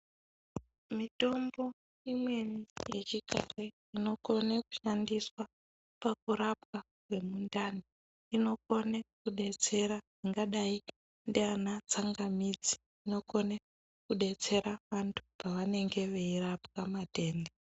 Mitombo imweni inokone kushandiswa pakurapwa kwemundani. Inokone kudetsera ingadai ndiana tsangamidzi, inokone kudetsera vantu pavanenge veirapwa matenda.